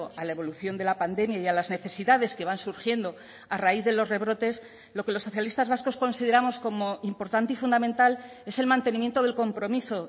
a la evolución de la pandemia y a las necesidades que van surgiendo a raíz de los rebrotes lo que los socialistas vascos consideramos como importante y fundamental es el mantenimiento del compromiso